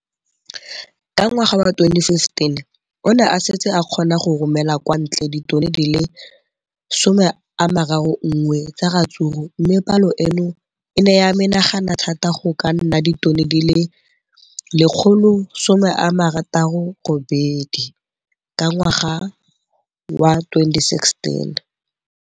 Ka ngwaga wa 2015, o ne a setse a kgona go romela kwa ntle ditone di le 31 tsa ratsuru mme palo eno e ne ya menagana thata go ka nna ditone di le 168 ka ngwaga wa 2016.